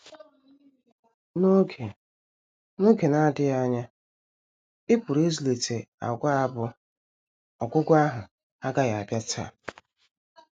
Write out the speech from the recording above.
N’oge na N’oge na - adịghị anya, ị pụrụ ịzụlite àgwà bụ́: “ Ọgwụgwụ ahụ agaghị abịa taa. ”